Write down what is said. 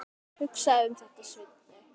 Hugsaðu um þetta, Svenni!